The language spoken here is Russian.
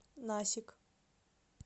насик